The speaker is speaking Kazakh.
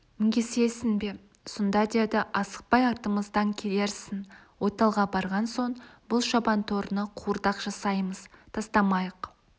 мінгесесің бе сонда деді асықпай артымыздан келерсің ойталға барған соң бұл шабан торыны қуырдақ жасаймыз тастамайық